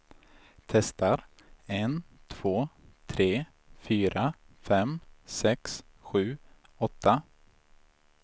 Testar en två tre fyra fem sex sju åtta.